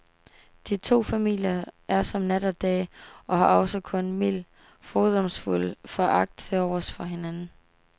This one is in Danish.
De to familier er som nat og dag og har også kun mild, fordomsfuld foragt tilovers for hinanden.